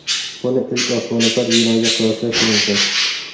Buni ilk osmono‘par binoga qiyoslash mumkin.